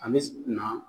A bɛ na